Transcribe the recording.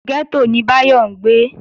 Gẹ́tò ni Báyọ̀ ń gbé